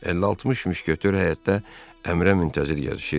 Əlli-altmış müşketyor həyətdə əmrə müntəzir gəzişirdi.